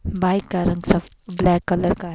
bike का रंग सब ब्लैक कलर का --